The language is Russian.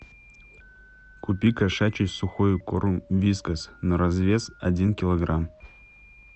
купи кошачий сухой корм вискас на развес один килограмм